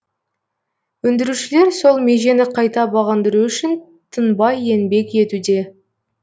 өндірушілер сол межені қайта бағындыру үшін тынбай еңбек етуде